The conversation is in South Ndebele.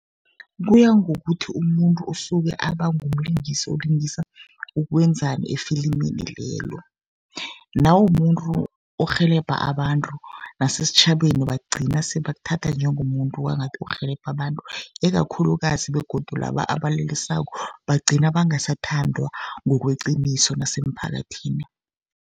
Kuya ngokuthi umuntu usuke aba ngumlingisi olingisa ukwenzani efilimini lelo. Nawumumuntu orhelebha abantu, nesitjhabeni bagcina se bakuthatha njengomuntu kwangathi urhelebha abantu, ikakhulukazi begodu laba abalelesako bagcina bangasathandwa ngokweqiniso nemphakathini.